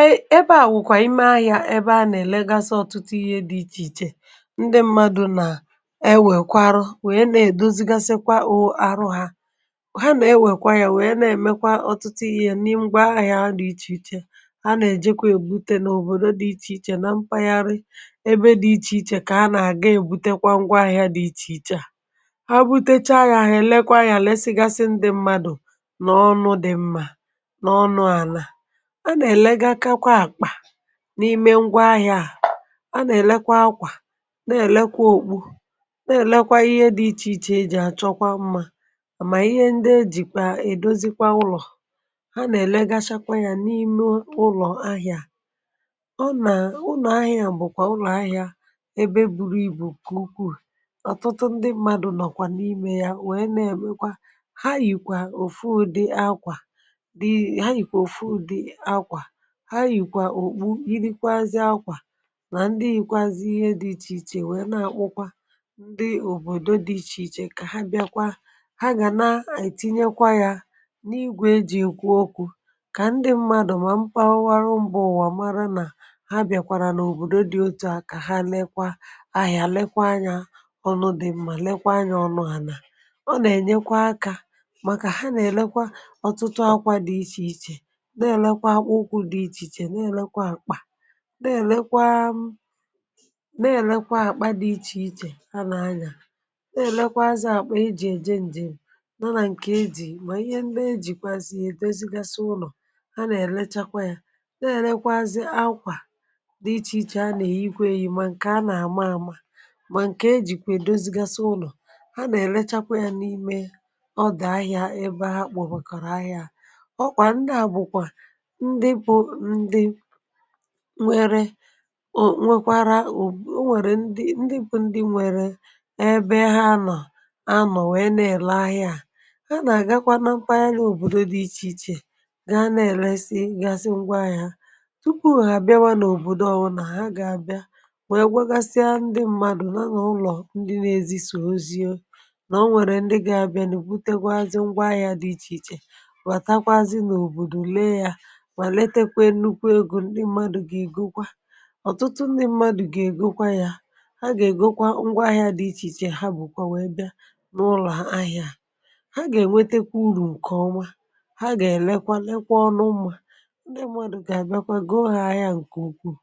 Ee ebe à nwùkwà ime ahị̇ȧ ebe a nà-èlegasi ọtụtụ ihe dị ichè ichè ndị m̀madụ̇ nà ewèkwa arụ wee nà-èdozigasịkwa o àrụ ha ha nọ̀ ewèkwa ahị̇ȧ wèe na-èmekwa ọtụtụ ihė n’ịgbà ahị̇ȧ dị ichè ichè ha nà-èjekwe èbute n’òbòdò dị ichè ichè na mpaghara ebe dị ichè ichè kà ha nà-àga èbutekwa ngwa ahị̇ȧ dị ichè ichè à ha butecha gà èlekwa ahị̇ȧ lèsɪgasi ndị m̀madụ̇ nà ọnụ dị̇ mma nà ọnụ àlà anà èlega kakwa àkpà, n’ime ngwa ahị̇ȧ à anà èlekwa akwà, nà-èlekwa òkpu nà-èlekwa ihe dị ichè ichè jì àchọkwa mmȧ àmà ihe ndị ejìkwà èdozikwa ụlọ̀ anà èlegasha kwà yà n’ime ụlọ̀ ahị̇ȧ ọ nà ụnọ̀ ahị̇ȧ bụ̀kwà ụlọ̀ ahị̇ȧ ebe buru ibù nke ụkwụụ ọ̀tụtụ ndị mmadù nọ̀kwà n’imė yȧ wèe na-èmekwa ha yìkwà òfu ụdị akwà ha yìkwa òfu ụdị akwà, ha yìkwa òkpù yịrịkwazị akwà nà ndị yìkwazị ihe dị ichè ichè wee na-akpụkwa ndị òbòdò dị ichè ichè kà ha bịakwa ha gà na-etinyekwa yȧ n’igwè eji̇ ìkwu okwu̇ kà ndị mmadụ̀ mà mkpawawara ụ̀mụ̀wà mara nà ha bịakwàrà n’òbòdò dị otu à kà ha lekwa ahịȧ, lekwa anyȧ ọnụ dị mmȧ, lekwa anyȧ ọnụ̇ hàlà ọ nà-ènyekwa akȧ màkà ha nà-èlekwa ọtụtụ akwȧ dị ichè ichè na-elekwa akpa na-elekwa m na-elekwa akpa dị iche iche a na-anya na-elekwa azị akpa iji eje njem nala nke eji ma ihe ndị ejikwazie edozi gasị ụnọ ha na-elechakwa ya na-elekwa azị akwa dị iche iche a na-ikwe yi ma nke a na-ama ama ma nke e jikwa edozi gasị ụnọ ha na-elechakwa ya n’ime ọ dị ahịa ebe ha kpọkpọrọ ahịa. Ọ kwa ndị a bụkwa ndị bú ndị nwere o nwekwara o nwèrè ndị ndị bụ ndị nwèrè ebe ha nọ̀ ha nọ̀ wee nà-èle ahịa à ha nà-àgakwa na mpaghara n’òbòdò dị ichè ichè ga na-èresi gasị ngwaahịa tupu hà bịawa n’òbòdò ọwụ nà ha ga-abịa wee gweghagasịa ndị mmadụ̀ na na ụlọ̀ ndị n’ezi sò oziȯ nà o nwèrè ndị ga-abịa nì butekwazị ngwaahịa dị ichè ichè bàtakwazị n’òbòdò lee yȧ ma letakwa nnukwu ego ndị mmadụ̇ ga ègokwa. ọ̀tụtụ ndị mmadụ̇ ga ègokwa yȧ ha gà ègokwa ngwa ahịȧ dị ichè ichè ha bụ̀kwà nwèe bịa n’ụlọ̀ ahịȧ à ha gà ènwetekwa urù ǹkèọma ha gà èlekwa lekwa ọnụ mmȧ ndị mmadụ̇ gà èbakwa go ha ahịȧ ǹkè ukwuù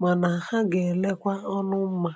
mànà ha gà èlekwa ọnụ̇ mmȧ.